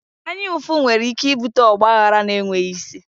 Anya ụfụ nwere ike ibute ọgba aghara na enweghị isi